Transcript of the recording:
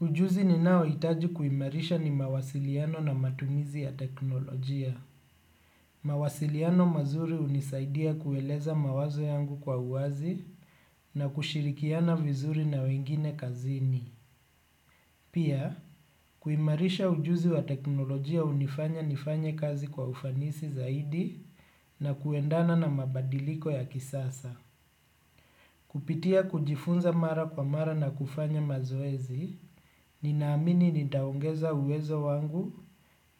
Ujuzi ninaoitaji kuimarisha ni mawasiliano na matumizi ya teknolojia. Mawasiliano mazuri unisaidia kueleza mawazo yangu kwa uwazi na kushirikiana vizuri na wengine kazini. Pia, kuimarisha ujuzi wa teknolojia unifanya nifanye kazi kwa ufanisi zaidi na kuendana na mabadiliko ya kisasa. Kupitia kujifunza mara kwa mara na kufanya mazoezi, ninaamini nitaongeza uwezo wangu